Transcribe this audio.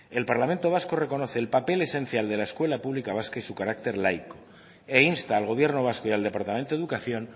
el parlamento vasco reconoce el papel esencial de la escuela pública vasca y su carácter laico he insta al gobierno vasco y al departamento de educación